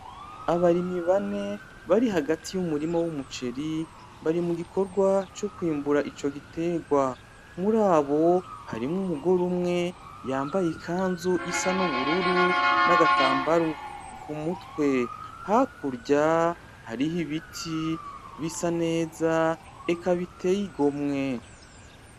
Abarimyi bane bari hagati y'Umurima w'umuceri bari mugikorwa co kwimbura Ico giterwa murabo harimwo Umugore umwe yambaye ikanzu isa n'ubururu nagatambaro kumutwe, hakurya hariho Ibiti bisa neza eka biteye igomwe.